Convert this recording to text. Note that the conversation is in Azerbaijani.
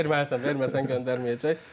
Verməlisən, verməsən göndərməyəcək.